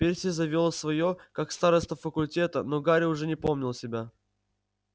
перси завёл своё как староста факультета но гарри уже не помнил себя